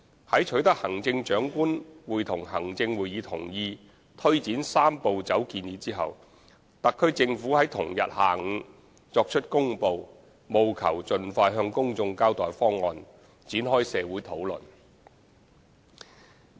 在取得行政長官會同行政會議同意推展"三步走"建議後，特區政府在同日下午作出公布，務求盡快向公眾交代方案，展開社會討論。